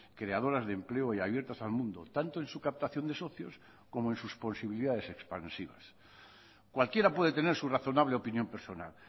creadoras de empleo y abiertas al mundo tanto en su captación de socios como en sus posibilidades expansivas cualquiera puede tener su razonable opinión personal